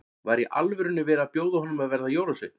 Var í alvörunni verið að bjóða honum að verða jólasveinn?